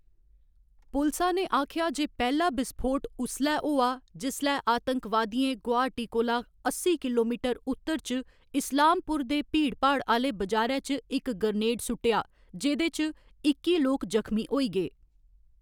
पुलसा ने आखेआ जे पैह्‌‌ला विस्फोट उसलै होआ जिसलै आतंकवादियें गुवाहाटी कोला अस्सी किलोमीटर उत्तर च इस्लामपुर दे भीड़भाड़ आह्‌‌‌ले बजारै च इक ग्रेनेड सुट्टेआ, जेह्‌‌‌दे च इक्की लोक जखमी होई गे।